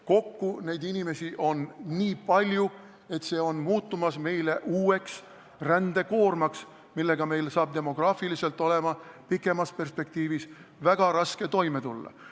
Kokku on neid inimesi nii palju, et see on muutumas meile uueks rändekoormaks, millega meil on pikemas perspektiivis demograafiliselt väga raske toime tulla.